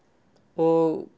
og